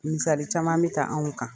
Misali caman bɛ ta anw kan .